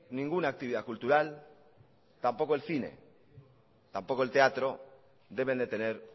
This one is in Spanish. ninguna actividad cultural tampoco el cine tampoco el teatro deben de tener